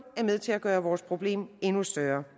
er med til at gøre vores problem endnu større